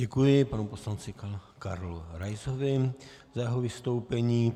Děkuji panu poslanci Karlu Raisovi za jeho vystoupení.